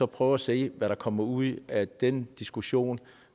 prøve at se hvad der kommer ud af den diskussion